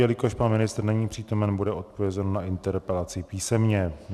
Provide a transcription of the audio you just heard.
Jelikož pan ministr není přítomen, bude odpovězeno na interpelaci písemně.